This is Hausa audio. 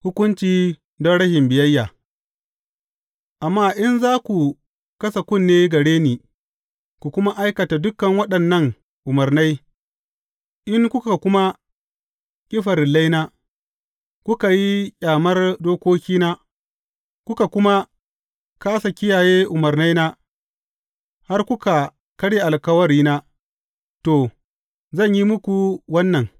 Hukunci don rashin biyayya Amma in za ku kasa kunne gare ni, ku kuma aikata dukan waɗannan umarnai, in kuka kuma ƙi farillaina, kuka yi ƙyamar dokokina, kuka kuma kāsa kiyaye umarnaina, har kuka karya alkawarina, to, zan yi muku wannan.